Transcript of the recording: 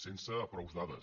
sense prou dades